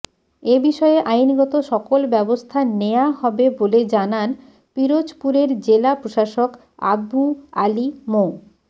এ বিষয়ে আইনগত সকল ব্যবস্থা নেয়া হবে বলে জানান পিরোজপুরের জেলা প্রশাসক আবু আলী মো